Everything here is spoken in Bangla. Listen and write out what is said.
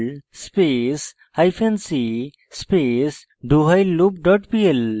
perl space hyphen c space dowhileloop dot pl